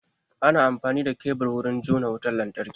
Ana amfani da kebur wurin jona wutan lantarki.